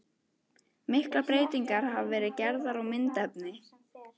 Miklar breytingar hafa verið gerðar á myndefni.